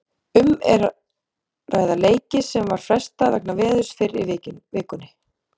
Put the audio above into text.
Um er að ræða leiki sem var frestað vegna veðurs fyrr í vikunni.